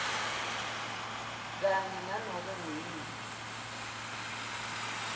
kanye nanobe nguyiphi